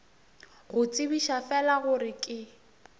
go tsebiša fela gore ke